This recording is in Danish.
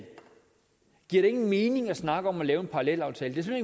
giver det ingen mening at snakke om at lave en parallelaftale det er